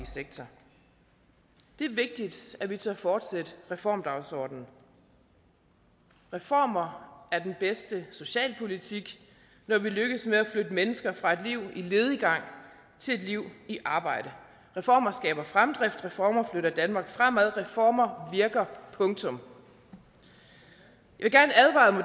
sektor det er vigtigt at vi tør fortsætte reformdagsordenen reformer er den bedste socialpolitik når vi lykkes med at flytte mennesker fra et liv i lediggang til et liv i arbejde reformer skaber fremdrift reformer flytter danmark fremad og reformer virker punktum jeg